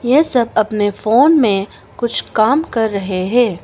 ये सब अपने फोन में कुछ काम कर रहे हैं।